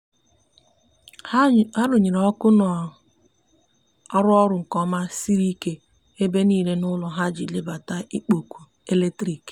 ha runyere ọkụ na arụ orụ nke oma siri ike ebe nile n'ulo ha iji belata ikpo ọkụ eletrikị